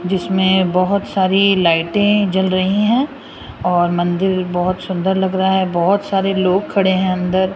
जिसमें बहुत सारी लाइटें जल रही हैं और मंदिर बहुत सुंदर लग रहा है बहुत सारे लोग खड़े हैं अंदर।